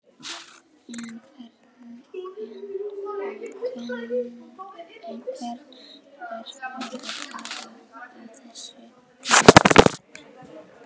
En einhver verður að tala á þessu heimili.